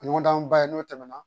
Ɲɔgɔndan ba ye n'o tɛmɛna